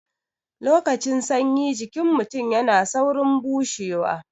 Lokacin sanyi jikin mutun yana saurin bushewa